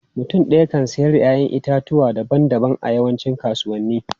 Mutum ɗaya kan siyar da 'ya'yan itatuwa daban-daban a yawancin kasuwanni.